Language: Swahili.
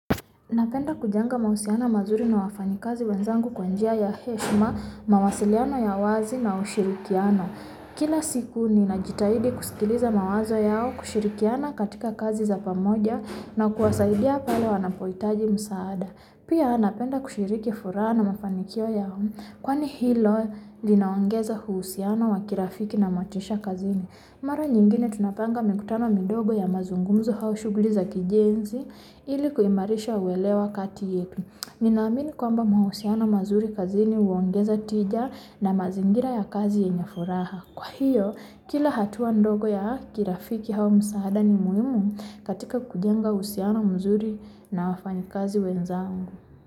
Napenda kujenga mahusiano mazuri na wafanyikazi wenzangu kwa njia ya heshma, mawasiliano ya wazi na ushirikiano Kila siku ninajitahidi kusikiliza mawazo yao kushirikiana katika kazi za pamoja na kuwasaidia pale wanapoitaji msaada Pia napenda kushiriki furaha na mafanikio yao Kwani hilo linaongeza uhusiano wa kirafiki na motisha kazini Mara nyingine tunapanga mikutano midogo ya mazungumzo hau shugli za kijenzi ili kuimarisha uelewa kati yetu Ninaamini kwamba mahusiano mazuri kazini huongeza tija na mazingira ya kazi yenye furaha Kwa hiyo kila hatua ndogo ya kirafiki hau msaada ni muhimu katika kujenga uhusiano mzuri na wafanyikazi wenzangu.